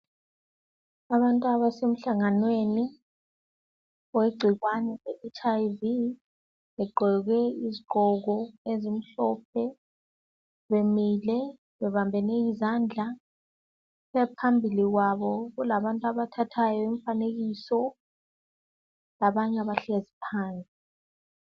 Abantu abasemhlanganweni wegcikwane leHIV begqoke izigqoko ezimhlophe bemile bebambene izandla phambili kwabo kulabantu abathatha imfanekiso abanye bahlezi phansi.